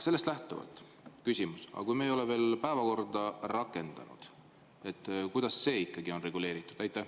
Sellest lähtuvalt küsimus: kui me ei ole veel päevakorda rakendanud, siis kuidas see ikkagi on reguleeritud?